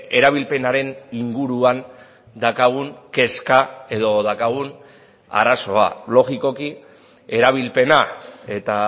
erabilpenaren inguruan daukagun kezka edo daukagun arazoa logikoki erabilpena eta